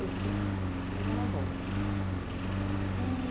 Enfim, mas era bom. E...